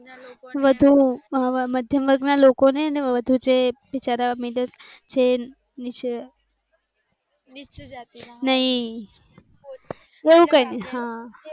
વધુ મધ્યમ વર્ગના લોકોને વધુ જે બિચારા મિડલ ક્લાસ ના નહી.